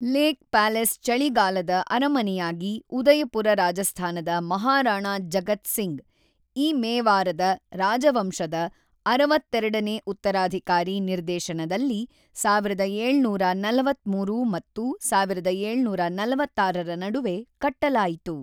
Lake palace ಚಳಿಗಾಲದ ಅರಮನೆಯಾಗಿ ಉದಯಪುರ ರಾಜಸ್ಥಾನದ ಮಹಾರಾಣಾ ಜಗತ್ ಸಿಂಗ್ ಇ ಮೇವಾರದ ರಾಜವಂಶದ ೬೨ ನೇ ಉತ್ತರಾಧಿಕಾರಿ ನಿರ್ದೇಶನದಲ್ಲಿ ೧೭೪೩ ಮತ್ತು ೧೭೪೬ ರ ನಡುವೆ ಕಟ್ಟಲಾಯಿತು.